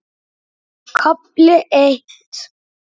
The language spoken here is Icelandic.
KAFLI EITT